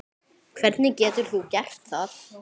Hvernig getur þú gert það?